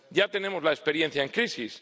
Ya tenemos la experiencia en crisis.